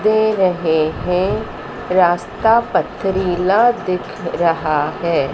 दे रहे हैं रास्ता पथरीला दिख रहा है।